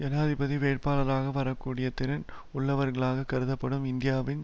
ஜனாதிபதி வேட்பாளராக வரக்கூடிய திறன் உள்ளவர்களாகக் கருதப்படும் இந்தியானாவின்